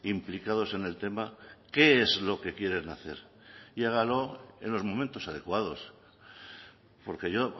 implicados en el tema qué es lo que quieren hacer y hágalo en los momentos adecuados porque yo